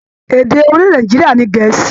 Èdè orilẹ-èdè Nàìjíríà ní Gèẹ́sì.